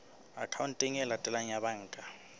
akhaonteng e latelang ya banka